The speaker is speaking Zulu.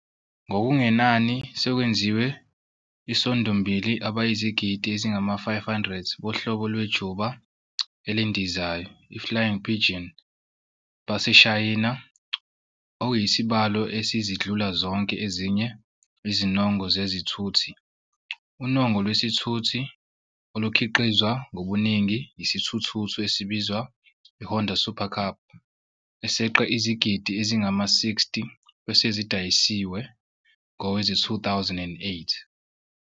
Ngokungenani, sekwenziwe oSondombili abayizigidi ezingama-500 bohlobo lweJuba elindizayo, "Flying Pigeon", baseShayina, okuyisibalo esizidlula zonke ezinye izinongo zezithuthi. Unongo lwesithuthi olukhiqizwa ngobuningi yisithuthuthu esibizwa "Honda Super Cub", eseqe izigidi ezingama-60 kwesezidayisiwe ngowezi-2008.